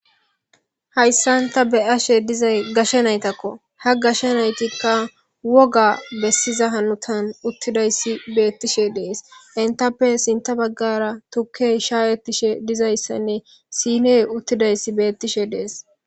hayssan ta beyashe dizay gashe naytakko ha gashe naytikka woga bessiza hanutan uttidayssi beettishe dees intappe sinta baggara tukke shaayettishe dizayssanne siiney uttidayssi beettishe dees